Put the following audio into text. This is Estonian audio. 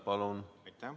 Palun!